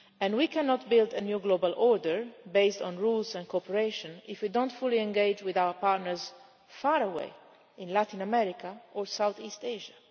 We cannot build a new global order based on rules and cooperation if we do not fully engage with our partners far away in Latin America or Southeast Asia.